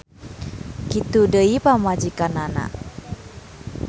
Kitu deui pamajikanana.